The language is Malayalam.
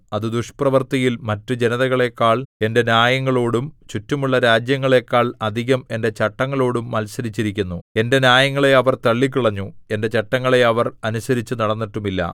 അത് ദുഷ്പ്രവൃത്തിയിൽ മറ്റു ജനതകളെക്കാൾ എന്റെ ന്യായങ്ങളോടും ചുറ്റുമുള്ള രാജ്യങ്ങളെക്കാൾ അധികം എന്റെ ചട്ടങ്ങളോടും മത്സരിച്ചിരിക്കുന്നു എന്റെ ന്യായങ്ങളെ അവർ തള്ളിക്കളഞ്ഞു എന്റെ ചട്ടങ്ങളെ അവർ അനുസരിച്ചുനടന്നിട്ടുമില്ല